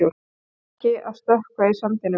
Krakki að stökkva í sandinum.